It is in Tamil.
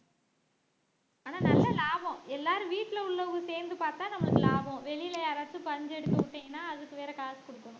ஆனா நல்ல லாபம் எல்லாரும் வீட்டிலே உள்ளவங்க சேர்ந்து பார்த்தா நமக்கு லாபம் வெளியிலே யாராச்சும் பஞ்சு எடுத்து விட்டீங்கன்னா அதுக்கு வேற காசு கொடுக்கணும்